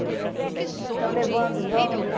Estão levando os homens.